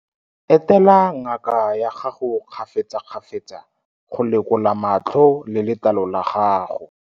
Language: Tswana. Etela ngaka ya gago kgafetsakgafetsa go lekola matlho le letlalo la gago.